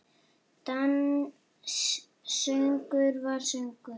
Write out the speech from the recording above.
Dans, söngvar og sögur.